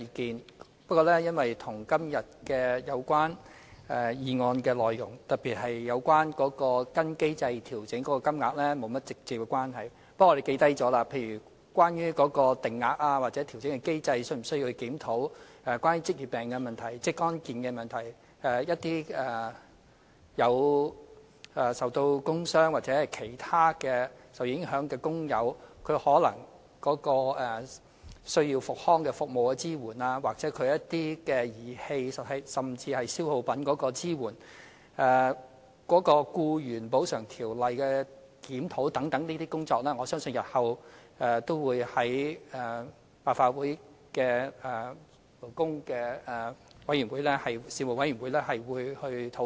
雖然部分意見與今天有關議案內容，特別是有關跟隨機制作出調整金額的部分沒有直接關係，但我們亦已記下來，例如是否需要檢視有關定額或調整機制；有關職業病的問題、職安健的問題等；一些受工傷或其他影響的工友的復康服務支援，又或儀器甚至消耗品的支援；檢視《僱員補償條例》等工作，我相信日後也會在立法會相關事務委員會上討論。